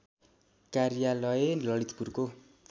कार्यालय ललितपुरको